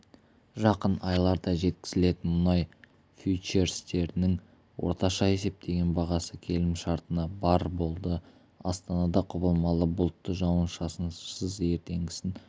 жақын айларда жеткізілетін мұнай фьючерстерінің орташа есептеген бағасы келісімшартына барр болды астанада құбылмалы бұлтты жауын-шашынсыз ертеңгісін